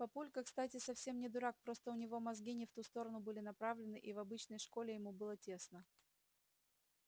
папулька кстати совсем не дурак просто у него мозги не в ту сторону были направлены и в обычной школе ему было тесно